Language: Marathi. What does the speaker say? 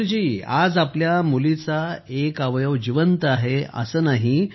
सुखबीर जी आज आपल्या मुलीचां एक अवयव जिवंत आहे असं नाही